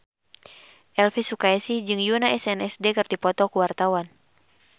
Elvi Sukaesih jeung Yoona SNSD keur dipoto ku wartawan